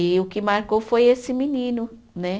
E o que marcou foi esse menino, né?